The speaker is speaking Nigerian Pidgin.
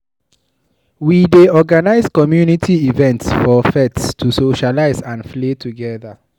We dey organize community events for pets to socialize and play together.